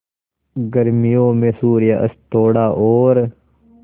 गर्मियों में सूर्यास्त थोड़ा और